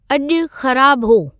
अॼु ख़राबु हो